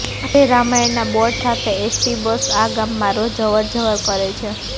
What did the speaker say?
આજેય રામાયણના બોર્ડ સાથે ST bus આ ગામમાં રોજ અવરજવર કરે છે